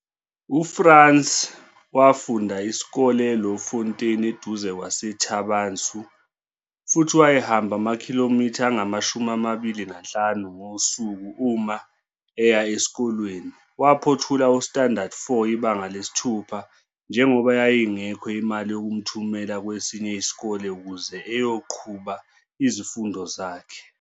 UFrans wafunda isikole eLouwfontein eduze kwaseThaba Nchu futhi wayehamba ama-km angama-25 ngosuku uma eya esikolweni. Waphothula u-standadi 4, iBanga 6, njengoba yayingekho imali yokumthumela kwesinye isikole ukuze eyoqhuba izifundo zakhe.